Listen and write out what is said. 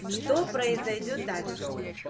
что произойдёт дальше